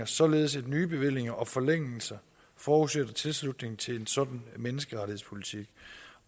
således at nye bevillinger og forlængelser forudsætter tilslutning til en sådan menneskerettighedspolitik